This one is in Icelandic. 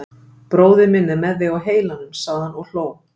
Bróðir minn er með þig á heilanum sagði hann og hló.